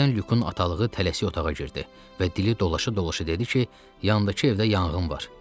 Birdən Lükün atalığı tələsik otağa girdi və dili dolaşa-dolaşa dedi ki, yandakı evdə yanğın var.